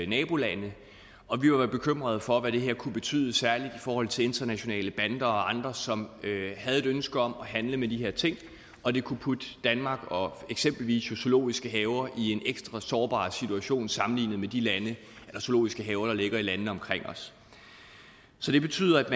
nabolande og vi var bekymrede for hvad det her kunne betyde særlig i forhold til internationale bander og andre som havde et ønske om at handle med de her ting og de kunne putte danmark og eksempelvis zoologiske haver i en ekstra sårbar situation sammenlignet med de zoologiske haver der ligger i landene omkring os så det betyder